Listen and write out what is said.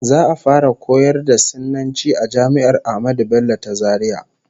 Za'a fara koyar da Sinanci a jami'ar Ahmadu Bello ta Zaria